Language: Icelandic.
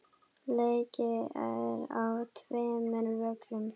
Leikið er á tveimur völlum.